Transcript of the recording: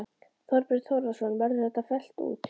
Þorbjörn Þórðarson: Verður þetta fellt út?